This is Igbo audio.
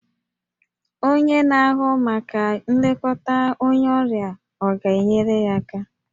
Onye na-ahụ maka nlekọta onye ọrịa ọ ga-enyere ya aka?